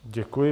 Děkuji.